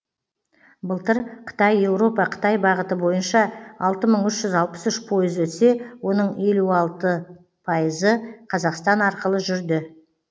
былтыр қытай еуропа қытай бағыты бойынша алты мың үш жүз алпыс үш пойыз өтсе оның елу алты пайызы қазақстан арқылы жүрді